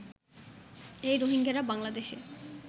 এই রোহিঙ্গারা বাংলাদেশে